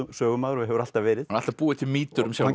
sögumaður og hefur alltaf verið alltaf búið til mýtur um sjálfan